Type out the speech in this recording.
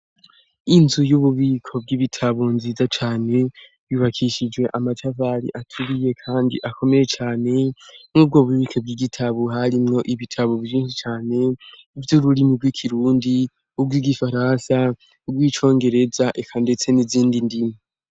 Inzu y'ububiko bw'ibitabu nziza cane yubakishijwe amatavali aturiye, kandi akomeye cane nk'ubwo bubike bw'igitabu harimwo ibitabu biinsi cane ivyo ururimi rw'ikirundi ubwo igifaransa ubwo icongereza eka, ndetse n'izindi ndimo.